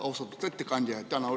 Austatud ettekandja!